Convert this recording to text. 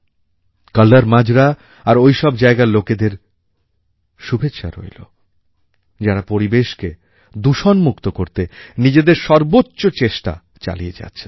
কল্লর মাজরা আর ওইসব জায়গার লোকেদের শুভেচ্ছা রইল যাঁরা পরিবেশকে দূষণমুক্ত করতে নিজেদের সর্বোচ্চ চেষ্টা চালিয়ে যাচ্ছেন